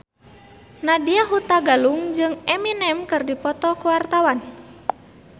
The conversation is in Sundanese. Nadya Hutagalung jeung Eminem keur dipoto ku wartawan